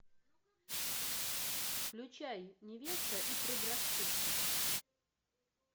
включай невеста и предрассудки